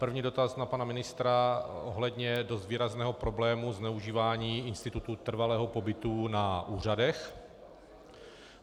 První dotaz na pana ministra ohledně dost výrazného problému zneužívání institutu trvalého pobytu na úřadech.